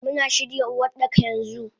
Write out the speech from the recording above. Muna shirya Uwardaka yanxu.